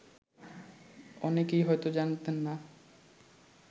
অনেকেই হয়ত জানতেন না